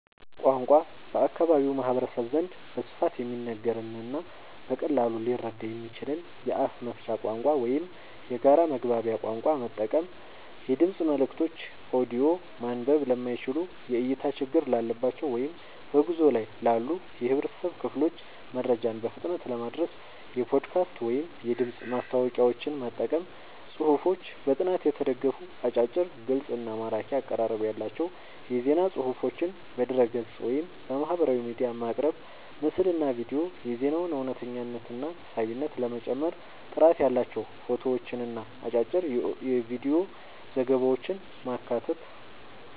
ቋንቋ፦ በአካባቢው ማህበረሰብ ዘንድ በስፋት የሚነገርንና በቀላሉ ሊረዳ የሚችልን የአፍ መፍቻ ቋንቋ ወይም የጋራ መግባቢያ ቋንቋ መጠቀም። የድምፅ መልእክቶች (ኦዲዮ)፦ ማንበብ ለማይችሉ፣ የእይታ ችግር ላለባቸው ወይም በጉዞ ላይ ላሉ የህብረተሰብ ክፍሎች መረጃን በፍጥነት ለማድረስ የፖድካስት ወይም የድምፅ ማስታወቂያዎችን መጠቀም። ጽሁፎች፦ በጥናት የተደገፉ፣ አጫጭር፣ ግልጽ እና ማራኪ አቀራረብ ያላቸው የዜና ፅሁፎችን በድረ-ገጽ፣ ወይም በማህበራዊ ሚዲያ ማቅረብ። ምስልና ቪዲዮ፦ የዜናውን እውነተኝነትና ሳቢነት ለመጨመር ጥራት ያላቸው ፎቶዎችንና አጫጭር የቪዲዮ ዘገባዎችን ማካተት።